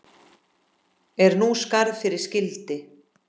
Er nú skarð fyrir skildi.